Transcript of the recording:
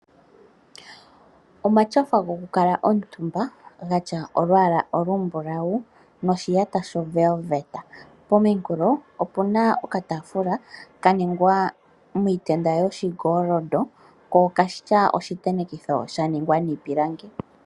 Omatyofa gwokukala omutumba gatya olwala olumbulawu noshiyata sho Velveeta, pomunkulo opena okatafula kaningwa miitenda yoshi ngolondo ko okena oshi tenekitho sha ningwa niipilangi.